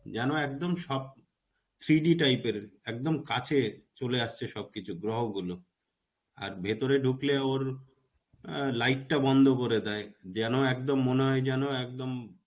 জানো একদম সব three D type এর একদম কাছে. চলে আসছে সবকিছু. গ্রহ গুলো. আর ভিতরে ঢুকলেও ওর light টা বন্ধ করে দেয়. যেন একদম মনে হয় যেন একদম